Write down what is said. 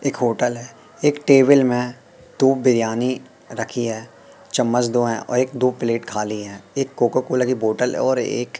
एक होटल है एक टेबील में दो बिरयानी रखी है चम्मच दो हैं और एक दो प्लेट खाली हैं एक कोका कोला की बॉटल है और एक--